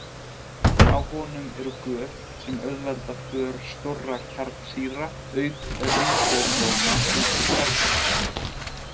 Á honum eru göt sem auðvelda för stórra kjarnsýra auk ríbósóma út úr kjarnanum.